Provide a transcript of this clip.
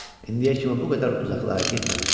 İndiyə kimi bu qədər uzaqlara getməmişdi.